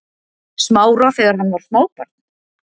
Smára þegar hann var smábarn?